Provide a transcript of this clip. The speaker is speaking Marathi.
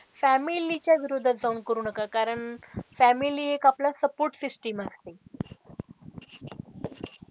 Family च्या विरोधात जाऊन करू नका कारण family एक आपला support system असते.